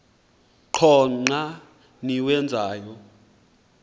qho xa niwenzayo